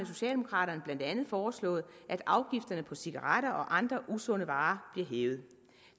socialdemokraterne blandt andet foreslået at afgifterne på cigaretter og andre usunde varer bliver hævet